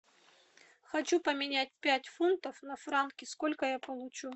хочу поменять пять фунтов на франки сколько я получу